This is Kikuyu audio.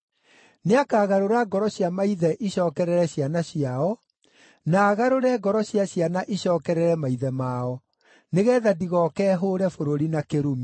Nĩakagarũra ngoro cia maithe icookerere ciana ciao, na agarũre ngoro cia ciana icookerere maithe mao, nĩgeetha ndigooke hũũre bũrũri na kĩrumi.”